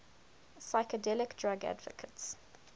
psychedelic drug advocates